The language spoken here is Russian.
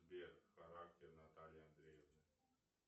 сбер характер натальи андреевны